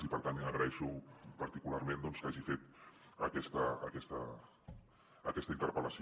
i per tant agraeixo particularment doncs que hagi fet aquesta interpel·lació